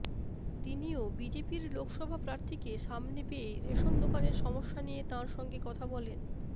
তিনিও বিজেপির লোকসভা প্রার্থীকে সামনে পেয়ে রেশন দোকানের সমস্যা নিয়ে তাঁর সঙ্গে কথা বলেন